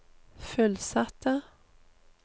fullsatte